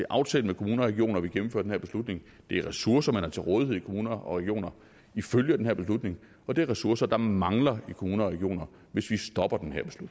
aftalt med kommuner og regioner at vi gennemfører den her beslutning det er ressourcer man har til rådighed i kommuner og regioner ifølge den her beslutning og det er ressourcer der mangler i kommuner og regioner hvis